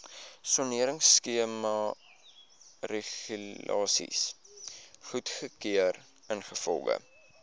soneringskemaregulasies goedgekeur ingevolge